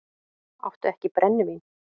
Áttu ekki brennivín?